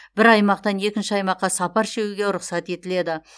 бір аймақтан екінші аймаққа сапар шегуге рұқсат етіледі